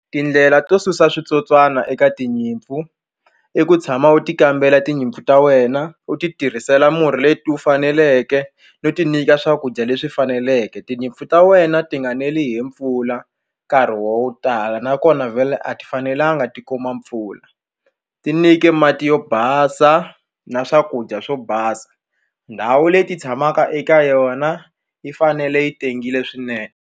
Tindlela to susa switsotswana eka tinyimpfu i ku tshama u ti kambela tinyimpfu ta wena u ti tirhisela murhi leti u faneleke no ti nyika swakudya leswi faneleke tinyimpfu ta wena ti nga neli hi mpfula nkarhi wo tala nakona vhele a ti fanelanga ti kuma mpfula ti nike mati yo basa na swakudya swo basa ndhawu leti tshamaka eka yona yi fanele yi tengile swinene.